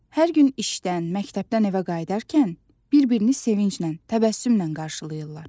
Hər gün işdən, məktəbdən evə qayıdarkən bir-birini sevinclə, təbəssümlə qarşılayırlar.